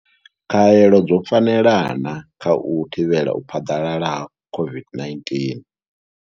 Khaelo dzo fanela na kha u thivhela u phaḓalala ha u thivhela u phaḓalala ha COVID-19.